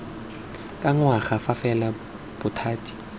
ka ngwaga fa fela bothati